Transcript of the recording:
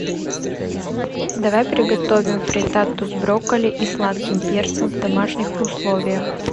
давай приготовим фриттату с брокколи и сладким перцем в домашних условиях